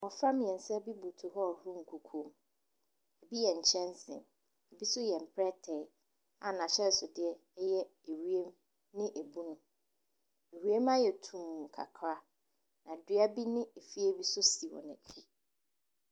Mmɔfra mmiɛnsa bi butu hɔ rehohoro nkukuo mu. Ebi yɛ nkyɛnsee, ebi nso yɛ mplɛtee a n’ahyɛnsodeɛ yɛ ewiem ne ebunu. Ewiem ayɛ tumm kakra. Na dua bi ne efie bi nso si wɔn akyi.